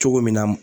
Cogo min na